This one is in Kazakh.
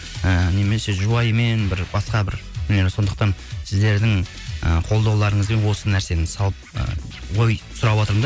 і немесе жұбайымен бір басқа бір сондықтан сіздердің і қолдауларыңызбен осы нәрсені салып ой сұраватырмын да